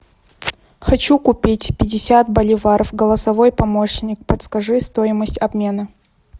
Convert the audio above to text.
хочу купить пятьдесят боливаров голосовой помощник подскажи стоимость обмена